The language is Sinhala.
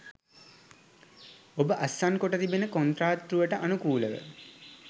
ඔබ අත්සන්කොට තිබෙන කොන්ත්‍රාත්තුවට අනුකූලව